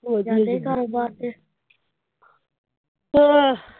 ਚਲੀ ਘਰੋਂ ਬਾਹਰ ਤੇ